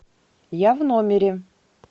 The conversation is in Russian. я в номере